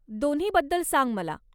दोन्हीबद्दल सांग मला.